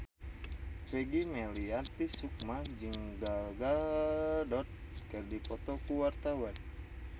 Peggy Melati Sukma jeung Gal Gadot keur dipoto ku wartawan